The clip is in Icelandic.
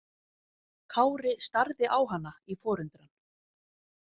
Kári starði á hana í forundran.